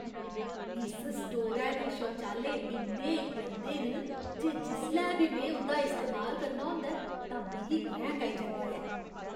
इस स्टोरै दे शौचालय इन्ने गंदे न जे जिसलै बी में उं'दा इस्तेमाल करना होंदा ऐ तां मिगी क्रैंह्क आई जंदी ऐ।